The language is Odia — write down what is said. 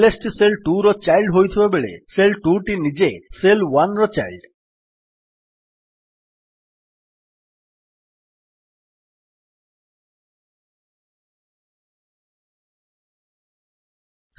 ଏଲଏସ୍ ଟି ଶେଲ୍ 2ର ଚାଇଲ୍ଡ୍ ହୋଇଥିବାବେଳେ ଶେଲ୍ 2 ନିଜେ ଶେଲ୍ 1ର ଚାଇଲ୍ଡ୍